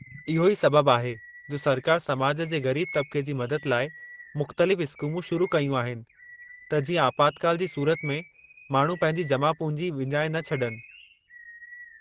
इहो ई सबबु आहे जो सरकार समाज जे ग़रीब तबक़े जी मदद लाइ मुख़्तलिफ़ स्कीमूं शुरू कयूं आहिनि; त जीअं आपातकाल जी सूरत में माण्हू पंहिंजी जमा पूंजी विञाए न छड॒नि।